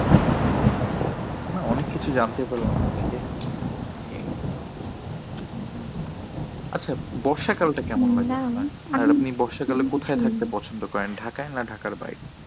ও না অনেক কিছু জানতে পারলাম আজকে এই উম আচ্ছা বর্ষাকালটা কেমন লাগে? আপনি বর্ষাকালে কোথায় থাকতে পছন্দ করেন ঢাকায় না ঢাকার বাইরে?